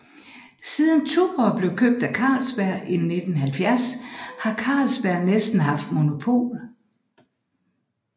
Siden Tuborg blev købt af Carlsberg i 1970 har Carlsberg næsten haft monopol